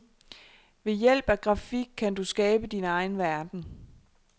Ved hjælp af grafik kan du skabe din egen verden.